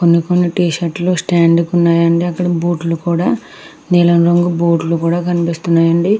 కొన్ని కొన్ని టి-షర్ట్ లు స్టాండ్ కి ఉన్నాయండి అక్కడ బూట్ లు కూడా నీలం రంగు బూట్ లు కూడా కనిపిస్తున్నాయండి.